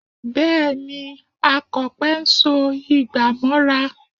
Bẹ́ẹ̀ ni, Akọ̀pẹ ń so igbà mọ́ra